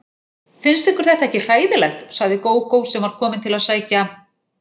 Finnst ykkur þetta ekki hræðilegt, sagði Gógó sem var komin til að sækja